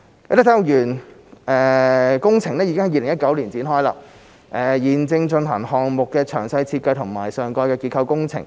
啟德體育園工程已於2019年展開，現正進行項目的詳細設計及上蓋結構工程。